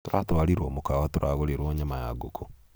Turatwarirwo mũkawa tũragũrĩrwo nyama ya ngũku